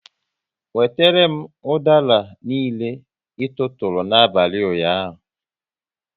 Wetere m udara niile, ị tụụrụ n'abalị ụnyaahụ!